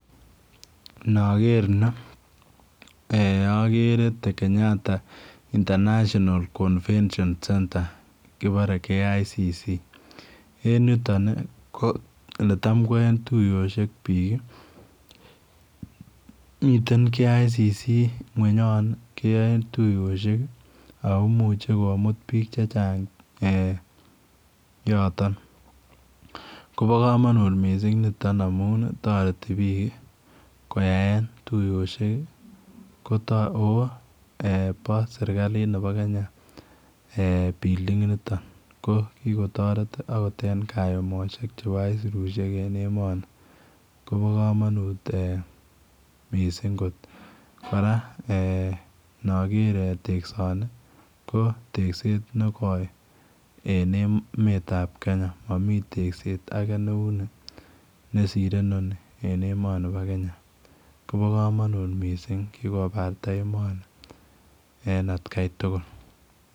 Nager nii agere the Kenyatta International Convention Center kibore KICC en yutoon ii ko ole taam koyaen tuyosuek biik miten Kenyatta International Convention Center kweeny Yoon ii keyae tuyosuek ii ako imuuche komuut biik che chaang' eeh yotoon Kobo kamanut missing nitoon ii amuun taretii biik ii koyaen ooh eeh bo serikaliit nebo Kenya eeh [building] initoon akoot en kayumosiek chebo aisirusiek en emanii kobaa kamanuut Missing koot kora eeh inageer teksaan nii ko tekseet ne goi en emeet ab Kenya mamii tekseet age ne uu nii nesire en emet ab Kenya koba kamanuut Missing' kikobarata emani en at Kai tugul.